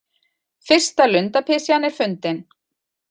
Fyrsta lundapysjan er fundin